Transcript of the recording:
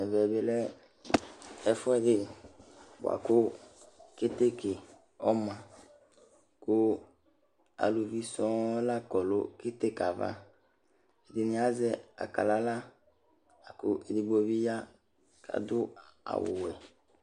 Ɛvɛ bi lɛ ɛfu ɛdi buaku keteke ɔma ku aluvi sɔŋ lakɔ nu keteke yɛ ava Edini azɛ akalala la ku edigbo bi ya kadu awu ɔwɛ